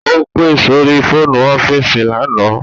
Ó pe sórí fóònù ọ́fíìsì lánàá